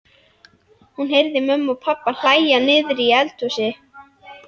Hún heyrði mömmu og pabba hlæja niðri í eldhúsi.